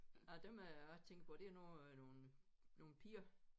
Nej dem jeg tænker på det er nu nogle nogle piger